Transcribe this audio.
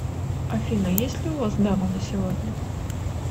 афина есть ли у вас дама на сегодня